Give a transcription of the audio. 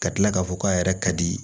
Ka tila k'a fɔ k'a yɛrɛ ka di